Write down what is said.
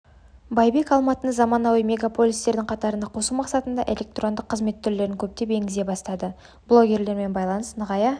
байбек алматыны заманауи мегаполистердің қатарына қосу мақсатында электрондық қызмет түрлерін көптеп енгізе бастады блогерлермен байланыс нығая